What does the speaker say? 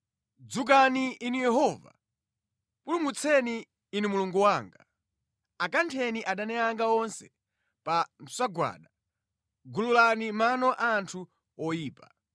Dzukani, Inu Yehova! Pulumutseni, Inu Mulungu wanga. Akantheni adani anga onse pa msagwada; gululani mano a anthu oyipa.